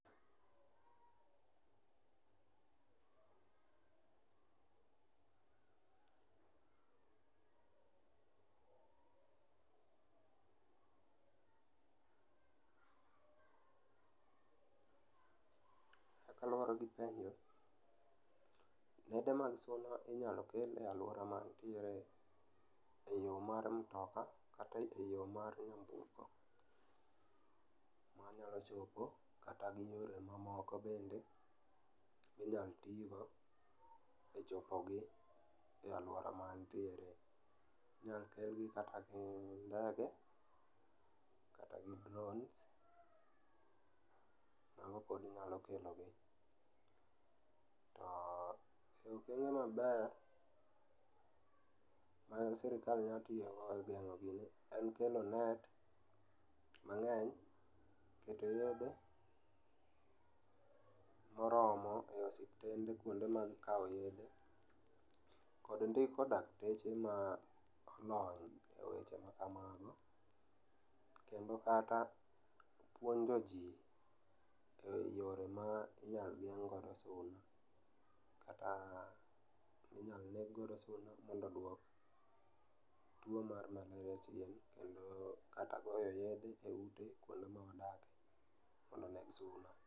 Kaka luwore gi penjo, nede mag suna inyalo kel e alwora maantiere e yo mar mtoka kata e yo mar nyamburko. Wanyalo chopo kata gi yore mamoko bende minyal tigo e chopogi e alwora maantiere. Inyal kelgi kata gi ndege, kata gi drones, mago pod nyalo kelogi. To e okenge maber maen sirikal nya tiyogo e geng'o gini en kelo net mang'eny, keto yedhe moromo e osiptende kuonde mag kawo yedhe kod ndiko dakteche ma olony e weche ma kamago. Kendo kata puonjo ji e yore ma inyal geng' godo suna, kata minyal neg godo suna mondo dwok tuo mar maleria chien. Kendo kata goyo yedhe e ute kuonde mawadake, mondo oneg suna.